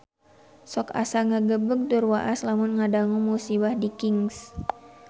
Sok asa ngagebeg tur waas lamun ngadangu musibah di Kings